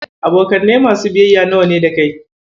Abokanai masu biyayya nawa ne da kai?